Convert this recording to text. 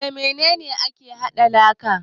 Da mene ne ake hada laka?